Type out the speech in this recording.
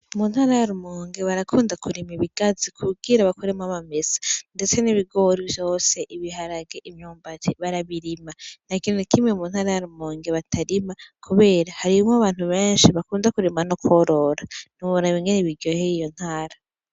Mu ntara ya Rumonge barakunda kurima ibigazi kugira bakuremwo amamesa, ndetse n'ibigori vyose, ibiharage, imyumbati barabirima. Ntakintu nakimwe mu ntara ya Rumonge batarima kubera hariho abantu benshi bakunda kurima no kworora, ntiworaba ingene biryoheye iyo ntara.